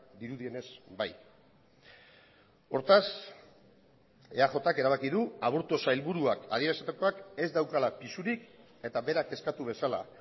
dirudienez bai hortaz eajk erabaki du aburto sailburuak adierazitakoak ez daukala pisurik eta berak eskatu bezala